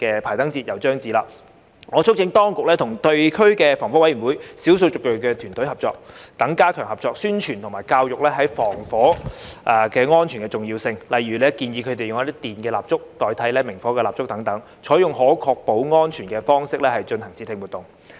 排燈節又將至，我促請當局與地區防火委員會及少數族裔的團隊等加強合作，宣傳及教育防火安全的重要性，例如建議他們使用一些電蠟燭代替明火蠟燭等，採用可確保安全的方式進行節慶活動。